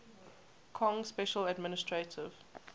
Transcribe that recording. kong special administrative